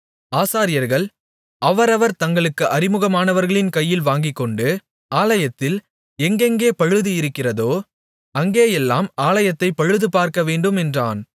ஆசாரியர்கள் அவரவர் தங்களுக்கு அறிமுகமானவர்களின் கையில் வாங்கிக்கொண்டு ஆலயத்தில் எங்கெங்கே பழுது இருக்கிறதோ அங்கேயெல்லாம் ஆலயத்தைப் பழுதுபார்க்கவேண்டும் என்றான்